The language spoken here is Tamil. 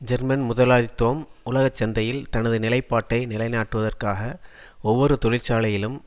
ஜெர்மன் முதலாளித்துவம் உலகச்சந்தையில் தனது நிலைப்பாட்டை நிலைநாட்டுவதற்காக ஒவ்வொரு தொழிற்சாலையிலும்